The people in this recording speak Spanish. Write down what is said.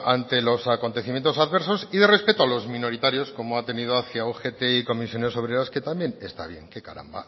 ante los acontecimientos adversos y de respeto a los minoritarios como ha tenido hacia ugt y comisiones obreras que también está bien qué caramba